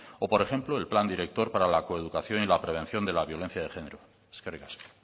o por ejemplo el plan director para la coeducación y la prevención de la violencia de genero eskerrik asko